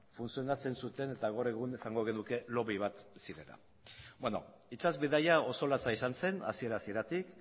funtzionatzen zuten eta gaur egun esango genuke lobby bat zirela beno itsas bidaia oso latza izan zen hasiera hasieratik